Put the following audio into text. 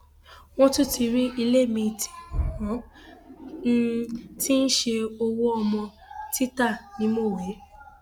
wọn tún ti rí ilé miín tí wọn um ti ń ṣe owó ọmọ títa ní mọwé um